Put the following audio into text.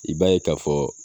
I b'a ye ka fɔ.